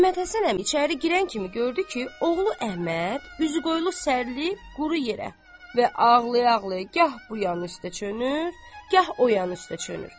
Məmmədhəsən əmi çayxanaya girən kimi gördü ki, oğlu Əhməd üzüqoyulu sərlib quru yerə və ağlaya-ağlaya gah bu yan üstə çönür, gah o yan üstə çönür.